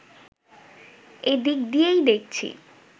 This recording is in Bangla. এই দিক দিয়ে দেখছি